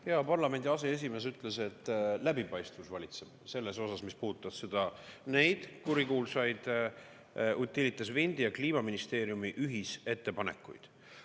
Hea parlamendi aseesimees ütles, et läbipaistvus valitseb selles osas, mis puudutab neid kurikuulsaid Utilitas Windi ja Kliimaministeeriumi ühisettepanekuid.